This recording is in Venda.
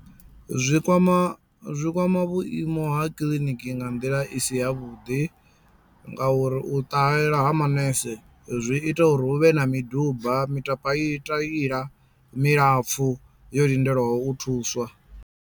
Zwi kwama zwi kwama vhuimo ha kiḽiniki nga nḓila isi ya vhuḓi nga uri u ṱahela ha manese zwi ita uri hu vhe na miduba mitapaitila milapfu yo lindelaho u thuswa.